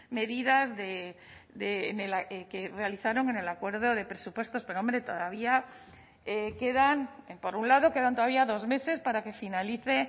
medidas que realizaron en el acuerdo de presupuestos pero hombre todavía quedan por un lado quedan todavía dos meses para que finalice